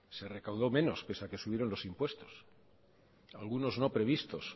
se recaudó menos pese a que subieron los impuestos algunos no previstos